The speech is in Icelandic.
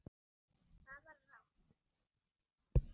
Það var rangt!